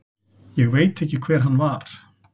Ég veit ekki hver hann var.